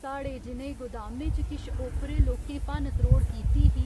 साढ़े जि'नें गोदामें च किश ओपरे लोकें भन्न त्रोड़ कीती ही